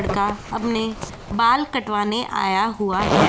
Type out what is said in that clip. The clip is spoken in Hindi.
लड़का अपने बाल कटवाने आया हुआ है।